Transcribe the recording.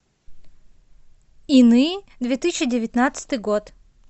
иные две тысячи девятнадцатый год